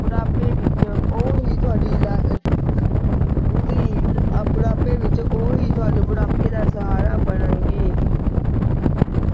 ਬੁਢਾਪੇ ਵਿਚ ਉਹੀ ਤੁਹਾਡੀ ਬੁਢਾਪੇ ਵਿਚ ਉਹੀ ਤੁਹਾਡੇ ਬੁਢਾਪੇ ਦਾ ਸਹਾਰਾ ਬਣਨਗੀ